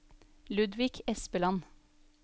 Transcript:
Ludvig Espeland